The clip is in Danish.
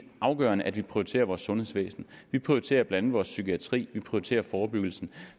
afgørende at vi prioriterer vores sundhedsvæsen vi prioriterer blandt andet vores psykiatri vi prioriterer forebyggelse